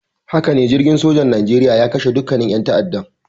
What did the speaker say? Hakane, jirgin sojan Nigeria ya kashe dukkannin ƴan ta'addan.